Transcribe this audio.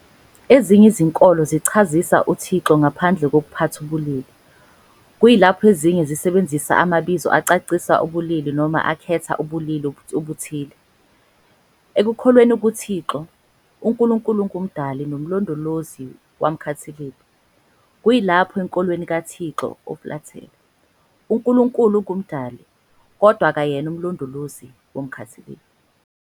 Ezinye izinkolo zichazisa uThixo ngaphandle kokuphatha ubulili, kuyilapho ezinye zisebenzisa amabizo acacisa ubulili noma akhetha ubulili obuthile. Ekukholweni kuThixo, uNkulunkulu ungumdali nomlondolozi womkhathilibe, kuyilapho enkolweni kaThixo ofulathele, uNkulunkulu ungumdali, kodwa akeyena umlondolozi womkhathilibe.